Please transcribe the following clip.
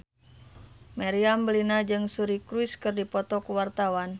Meriam Bellina jeung Suri Cruise keur dipoto ku wartawan